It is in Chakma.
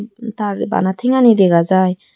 tar bana tengani dega jai.